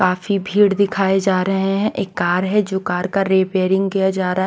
काफी भीड़ दिखाए जा रहे हैं एक कार है जो कार का रिपेयरिंग किया जा रहा --